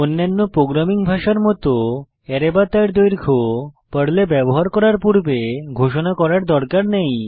অন্যান্য প্রোগ্রামিং ভাষার মত অ্যারে বা তার দৈর্ঘ্য পর্লে ব্যবহার করার পূর্বে ঘোষণা করার কোনো দরকার নেই